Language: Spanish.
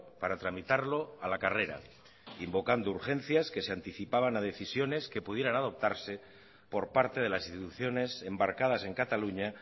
para tramitarlo a la carrera invocando urgencias que se anticipaban a decisiones que pudieran adoptarse por parte de las instituciones embarcadas en cataluña